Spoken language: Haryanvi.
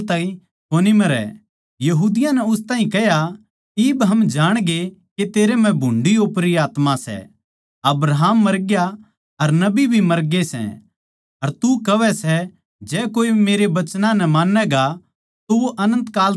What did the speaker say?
यहूदियाँ नै उस ताहीं कह्या इब हम जाणगे के तेरै म्ह भुन्ड़ी ओपरी आत्मा सै अब्राहम मरग्या अर नबी भी मरग्ये सै अर तू कहवै सै जै कोए मेरे वचनां नै मान्नैगा तो वो अनन्त काल ताहीं कोनी मरै